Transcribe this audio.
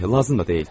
lazım da deyil.